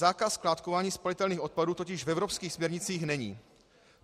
Zákaz skládkování spalitelných odpadů totiž v evropských směrnicích není.